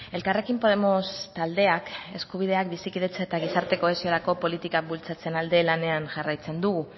elkarrekin podemos taldeak eskubideak bizikidetza eta gizarte kohesiorako politikak bultzatzearen alde lanean jarraitzen dugu